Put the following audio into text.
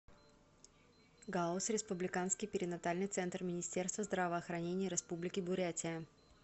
гауз республиканский перинатальный центр министерства здравоохранения республики бурятия